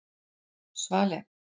Svali